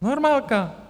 Normálka.